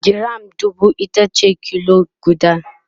giram dubu itace kilo guda